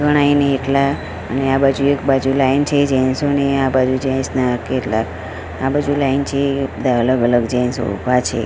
ગણાય ની એટલા અને આ બાજુ એક બાજુ લાઇન છે જેન્ટ્સો ની આ બાજુ જેન્ટ્સ ના કેટલા આ બાજુ લાઇન છે બધા અલગ અલગ જેન્ટ્સો ઉભા છે.